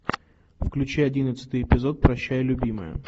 включи одиннадцатый эпизод прощай любимая